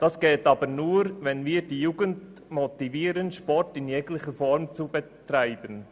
Das geht aber nur, wenn wir die Jugend motivieren, Sport in jeglicher Form zu betreiben.